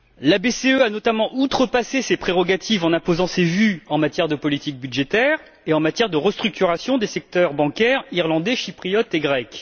La BCE a notamment outrepassé ses prérogatives en imposant ses vues en matière de politique budgétaire et de restructuration des secteurs bancaires irlandais, chypriote et grec.